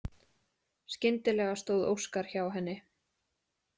Skyndilega stóð Óskar hjá henni.